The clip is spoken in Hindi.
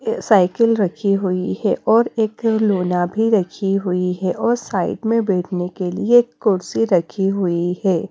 साइकिल रखी हुई है और एक लोना भी रखी हुई है और साइड में बैठने के लिए एक कुर्सी रखी हुई है।